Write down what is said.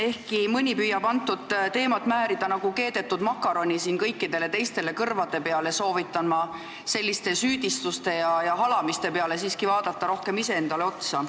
Ehkki mõni püüab antud teemat siin nagu keedetud makaroni kõikidele teistele kõrvade peale määrida, soovitan ma selliste süüdistuste ja halamiste asemel siiski rohkem iseendale otsa vaadata.